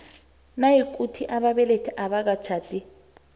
nayikuthi ababelethi abakatjhadi